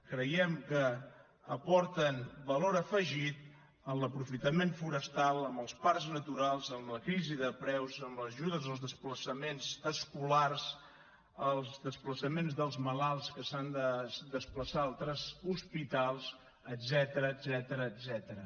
creiem que aporten valor afegit en l’aprofitament forestal amb els parcs naturals amb la crisi de preus amb les ajudes als desplaçaments escolars els desplaçaments dels malalts que s’han de desplaçar a altres hospitals etcètera